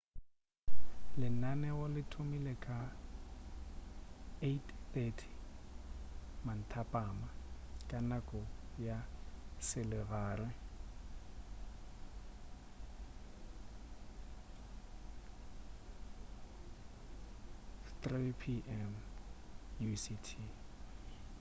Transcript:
lenaneo le thomile ka 8:30 p.m ka nako ya selegae 15.00 utc